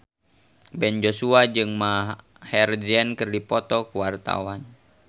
Ben Joshua jeung Maher Zein keur dipoto ku wartawan